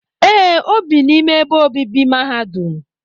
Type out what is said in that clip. Ee, o bi n'ime ebe obibi mahadum